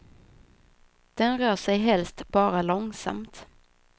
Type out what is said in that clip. Den rör sig helst bara långsamt.